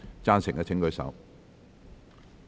贊成的請舉手。